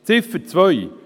Zur Ziffer 2: